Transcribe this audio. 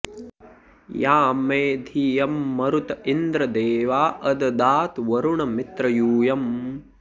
यां मे धियं मरुत इन्द्र देवा अददात वरुण मित्र यूयम्